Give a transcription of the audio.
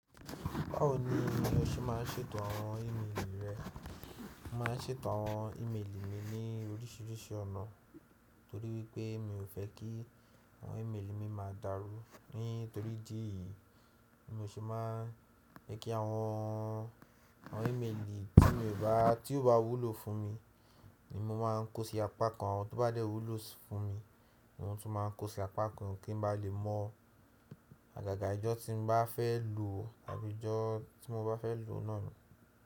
Báwo ni o ṣe máa ń ṣètò àwọn ímeèlì rẹ? Mo máà ń ṣètò àwọn ímeèlì mi ní oríṣiríṣi ọ̀nà torí wípé mi ò fẹ́ kí àwọn ímeèlì mi má dàrú. Nítorí ìdí èyí ni mo ṣe máa ń jẹ́ kí àwọn, àwọn ímeèlì tí mo bá, tí ó bá wúlò fún mi ni mo máa ń kó sí apá kan. Àwọn tó bá dẹ́ wúlò fún mi ni mọ tún máa ń kó sí apá kan kí n ba lè mọ àgàgà ìjọ tí n bá fẹ́ lọ tàbí ìjọ tí mo bá fẹ́ lọ náà ni.